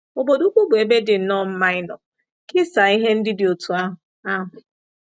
Obodo ukwu bụ ebe dị nnọọ mma ịnọ kesaa ihe ndị dị otú ahụ. ahụ.